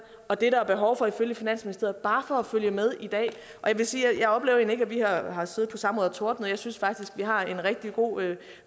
og det der er behov for ifølge finansministeriet bare for at følge med i dag jeg vil sige at oplever at vi har har siddet på samrådet og tordnet jeg synes faktisk at vi har en rigtig god